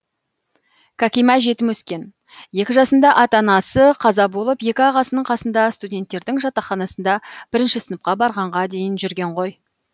кәкима жетім өскен екі жасында ата анасы қаза болып екі ағасының қасында студенттердің жатақханасында бірінші сыныпқа барғанға дейін жүрген ғой